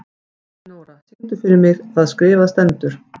Elinóra, syngdu fyrir mig „Það skrifað stendur“.